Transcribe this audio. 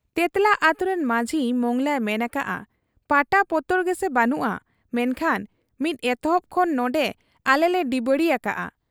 ᱛᱮᱸᱛᱞᱟ ᱟᱹᱛᱩᱨᱤᱱ ᱢᱟᱹᱡᱷᱤ ᱢᱚᱸᱜᱽᱞᱟᱭ ᱢᱮᱱ ᱟᱠᱟᱜ ᱟ ᱯᱟᱴᱟ ᱯᱚᱛᱚᱨ ᱜᱮᱥᱮ ᱵᱟᱹᱱᱩᱜ ᱟ, ᱢᱮᱱᱠᱷᱟᱱ ᱢᱤᱫ ᱮᱛᱚᱦᱚᱵ ᱠᱷᱚᱱ ᱱᱚᱱᱰᱮ ᱟᱞᱮᱞᱮ ᱰᱤᱵᱟᱹᱲᱤ ᱟᱠᱟᱜ ᱟ ᱾